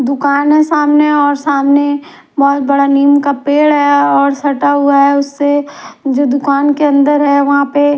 दुकान हैं सामने और सामने बहुत बडा नीम का पेड हैं और सटा हुआ हैं उसे जे दुकान के अंदर हैं वहां पे।